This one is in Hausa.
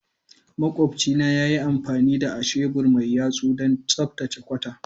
Makwabcinmu ya yi amfani da ahebur mai yatsu don tsaftace kwata.